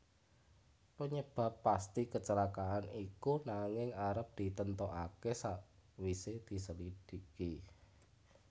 Penyebab pasti kecelakaan iku nanging arep ditentokake sakwise dislidiki